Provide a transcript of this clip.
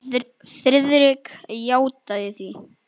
Friðrik játaði því.